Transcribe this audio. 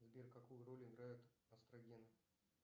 сбер какую роль играют эстрогены